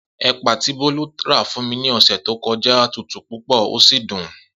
Epa ti Bolu ra fun mi ni ose to koja je tutu pupo o si dun.